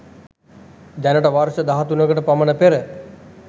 දැනට වර්ෂ 13 කට පමණ පෙර